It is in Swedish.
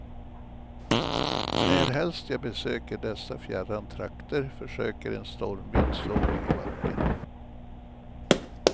Närhelst jag besöker dessa fjärran trakter försöker en stormvind slå mig i backen.